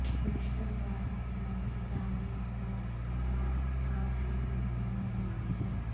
بیشتر علاقوں میں ابھی تعمیر نو کا کام شروع ہونا باقی ہے